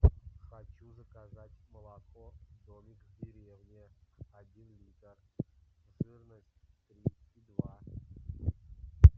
хочу заказать молоко домик в деревне один литр жирность три и два